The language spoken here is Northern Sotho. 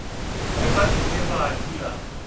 ge ba ile ba dula